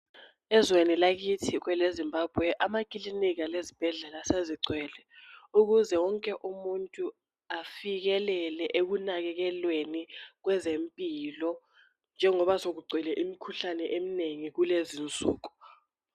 ezweni lakithi kwele Zimbabwe amakilinika lezibhedlela sezigcwele ukuze wonke afikelele ekunakekelweni kwezempilo njengoba sekugcwele imikhuhlane eminengi kulezinsuku